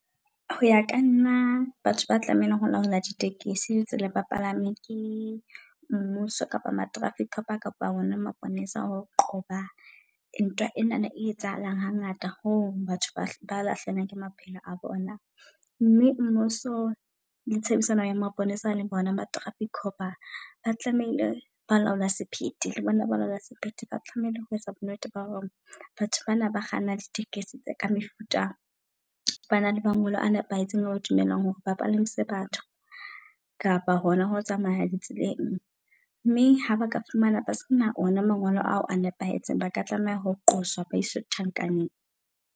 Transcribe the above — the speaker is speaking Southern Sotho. Ho ya kanna batho ba tlamehileng ho laola di tekesi le tsenang le baplami ke mmuso kapa ma-traffic kapa kapa ona maponesa. Ho qoba ntwa enana e etsahalang hangata ho batho ba lahlehelwang ke maphelo a bona. Mme mmuso le tshebedisano ya maponesa le bona ba traffic cop-a. Ba tlamehile balaola sephethe le bona balaola sephete ba tlamehile ho etsa bo nnete ba hore batho bana ba kgannang di tekesi tse ka mefuta bana le mangolo a nepahetseng eba dumelang hore bapalamise batho. Kapa hona ho tsamaya di tseleng mme haba ka fumana ba sena ona mangolo ao a nepahetseng. Ba ka tlameha ho qoswa baiswe tjhankaneng.